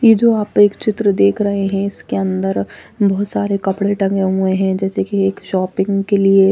ये जो आप एक चित्र देख रहे है जिसके अंदर बहुत सारे कपड़े टंगे हुए है जैसे कि एक शोपिंग के लिए--